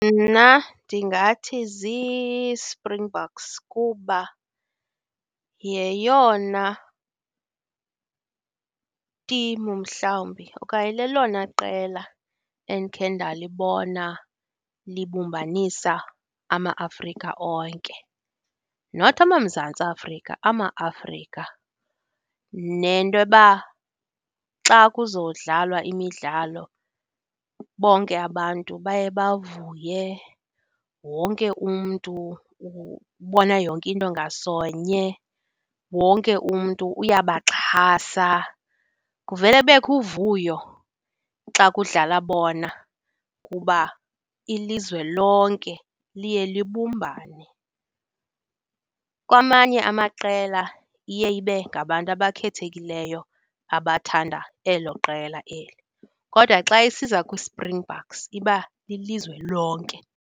Mna ndingathi ziSpringboks kuba yeyona timu mhlawumbi okanye lelona qela endikhe ndalibona libumbanisa ama-Afrika onke. Not, amaMzantsi Afrika, ama-Afrika. Nento yoba xa kuzodlalwa imidlalo bonke abantu baye bavuye, wonke umntu ubona yonke nto ngasonye, wonke umntu uyabaxhasa, kuvele kubekho uvuyo xa kudlala bona kuba ilizwe lonke liye libumbane. Kwamanye amaqela iye ibe ngabantu abakhethekileyo abathanda elo qela eli. Kodwa xa isiza kwiSpringboks iba lilizwe lonke.